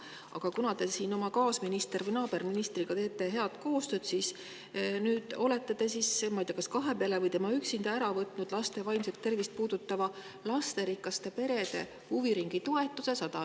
Aga kuna te oma kaasministri või naaberministriga teete head koostööd, siis nüüd olete te – ma ei tea, kas kahe peale või tema üksinda – ära võtnud laste vaimset tervist puudutava lasterikaste perede huviringitoetuse.